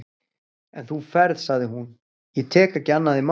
En þú ferð, sagði hún, ég tek ekki annað í mál.